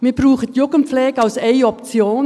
Wir brauchen die Jugendpflege als eine Option.